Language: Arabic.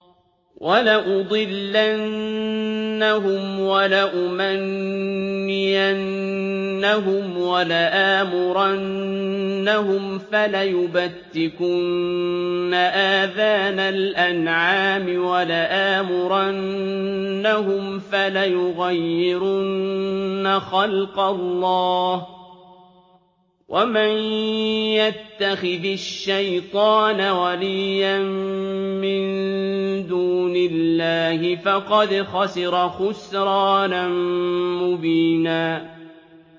وَلَأُضِلَّنَّهُمْ وَلَأُمَنِّيَنَّهُمْ وَلَآمُرَنَّهُمْ فَلَيُبَتِّكُنَّ آذَانَ الْأَنْعَامِ وَلَآمُرَنَّهُمْ فَلَيُغَيِّرُنَّ خَلْقَ اللَّهِ ۚ وَمَن يَتَّخِذِ الشَّيْطَانَ وَلِيًّا مِّن دُونِ اللَّهِ فَقَدْ خَسِرَ خُسْرَانًا مُّبِينًا